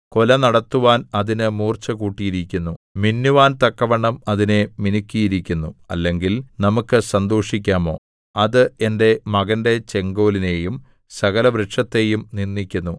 കൊല നടത്തുവാൻ അതിന് മൂർച്ചകൂട്ടിയിരിക്കുന്നു മിന്നുവാൻ തക്കവണ്ണം അതിനെ മിനുക്കിയിരിക്കുന്നു അല്ലെങ്കിൽ നമുക്കു സന്തോഷിക്കാമോ അത് എന്റെ മകന്റെ ചെങ്കോലിനെയും സകലവൃക്ഷത്തെയും നിന്ദിക്കുന്നു